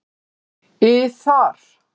ið þar.